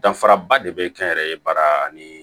Danfaraba de bɛ kɛ n yɛrɛ ye baara ani